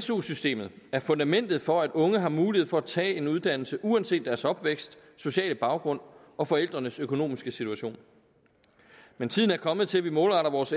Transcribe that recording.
su systemet er fundamentet for at unge har mulighed for at tage en uddannelse uanset deres opvækst sociale baggrund og forældrenes økonomiske situation men tiden er kommet til at vi målretter vores